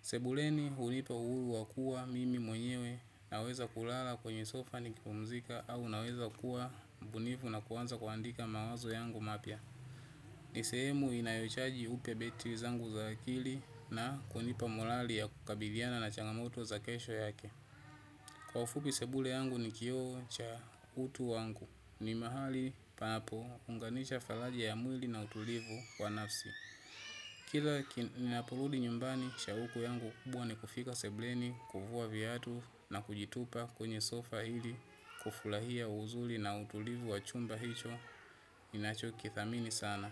Sebuleni hunipa uhulu wakuwa mimi mwenyewe naweza kulala kwenye sofa ni kipumzika au naweza kuwa mbunifu na kuanza kuandika mawazo yangu mapya. Ni sehemu inayochaji upya batteries zangu za akili na kunipa molali ya kukabiliana na changamoto za kesho yake. Kwa ufupi sebule yangu ni kioo cha utu wangu. Ni mahali panapo unganisha falaji ya mwili na utulivu wa nafsi. Kila ''kina'' nina porudi nyumbani, shauku yangu kubwa ni kufika sebuleni, kuvua viatu na kujitupa kwenye sofa ili kufurahia uzuli na utulivu wa chumba hicho ninacho kidhamini sana.